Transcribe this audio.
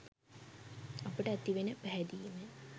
අපට ඇතිවෙන පැහැදීමෙන්.